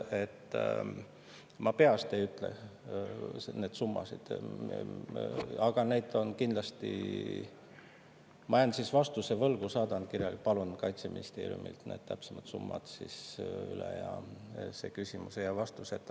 Ma peast ei ütle neid summasid, ma jään vastuse võlgu, aga saadan need kirjalikult, palun Kaitseministeeriumilt need täpsemad summad ja see küsimus ei jää vastuseta.